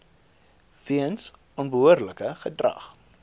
weens onbehoorlike gedrag